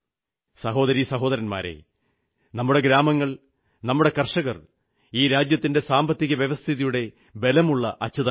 സഹോദരീ സഹോദരന്മാരേ നമ്മുടെ ഗ്രാമങ്ങൾ നമ്മുടെ കർഷകർ ഈ രാജ്യത്തിന്റെ സാമ്പത്തികവ്യവസ്ഥിതിയുടെ ബലമുള്ള അച്ചുതണ്ടാണ്